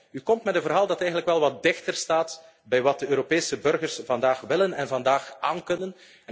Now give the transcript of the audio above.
verhaal. U komt met een verhaal dat eigenlijk wel wat dichter staat bij wat de Europese burgers vandaag willen en vandaag